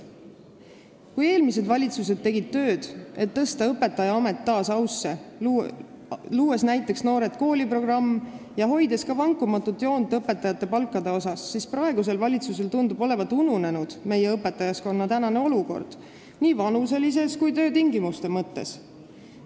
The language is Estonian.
Kui eelmised valitsused tegid tööd, et tõsta õpetajaamet taas ausse, luues näiteks "Noored kooli" programmi ja hoides vankumatut joont ka õpetajate palkade asjus, siis praegusel valitsusel tundub olevat ununenud meie õpetajaskonna olukord nii vanuselises kui ka töötingimuste mõttes.